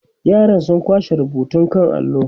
yaran sun kwashe rubutun kan allo